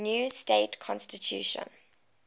new state constitution